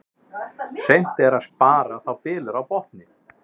Seint er að spara þá bylur á botni.